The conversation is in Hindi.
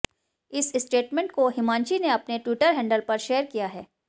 इस स्टेटमेंट को हिमांशी ने अपने ट्विटर हैंडल पर शेयर किया है